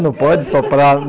Não pode soprar?